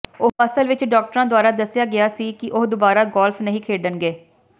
ਉਹ ਅਸਲ ਵਿਚ ਡਾਕਟਰਾਂ ਦੁਆਰਾ ਦੱਸਿਆ ਗਿਆ ਸੀ ਕਿ ਉਹ ਦੁਬਾਰਾ ਗੋਲਫ ਨਹੀਂ ਖੇਡਣਗੇ